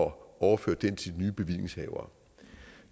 overføre den til de nye bevillingshavere